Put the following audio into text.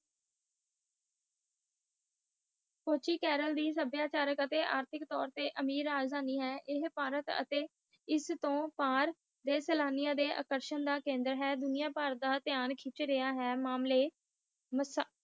ਕੋਚੀ ਕੇਰਲ ਦੇ ਸੌਬਚਾਰਕ ਅਤੇ ਆਰਥਿਕ ਤੋਰ ਤੇ ਆਮਿਰ ਰਾਜ ਤਾਣੀ ਹਾ ਪਾਰਟੀ ਅਤੇ ਬਾਰ ਸੈਲਾਨੀਆਂ ਲਾਇ ਆਕਰਸ਼ਕ ਦਾ ਕੰਡੇਰ ਹਾ, ਦੂਣਾ ਪਾਰ ਦਾ ਤਿਯੰ ਕਿਛੁ ਰਿਹਾ ਹੈ